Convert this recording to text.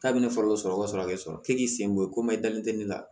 K'a bɛ ne fari dɔ sɔrɔ ka sɔrɔ a bɛ sɔrɔ k'e k'i sen bɔ komi i dalen tɛ ne la